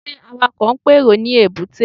Ṣé Awakọ̀ ń pèrò ní èbúté?